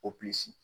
Opilisi